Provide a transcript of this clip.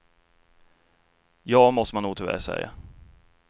Ja, måste man nog tyvärr säga.